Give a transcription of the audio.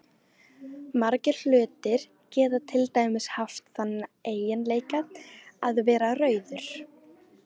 Margir hlutir geta til dæmis haft þann eiginleika að vera rauður.